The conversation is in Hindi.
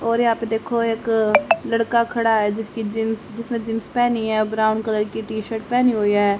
और यहां पे देखो एक लड़का खड़ा है जिसकी जींस जिसने जींस पहनी है और ब्राउन कलर की टी शर्ट पहनी हुई है।